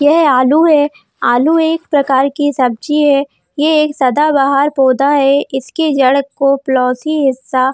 यह आलू है आलू एक प्रकार की सब्जी है यह एक बहार पौधा है इसकी जड़ को पोलिसी हिस्सा --